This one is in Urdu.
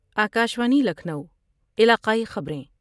آکاشوانی لکھنو علاقائی خبر یں